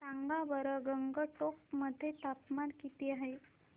सांगा बरं गंगटोक मध्ये तापमान किती आहे